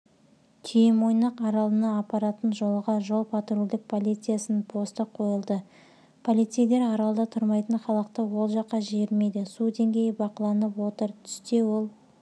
түйемойнақ аралына апаратын жолға жол-патрульдік полициясының посты қойылды полицейлер аралда тұрмайтын халықты ол жаққа жібермейді су деңгейі бақыланып отыр түсте ол